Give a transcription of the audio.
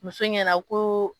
Muso ɲɛna ko.